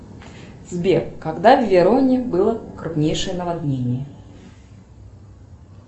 сбер когда в вероне было крупнейшее наводнение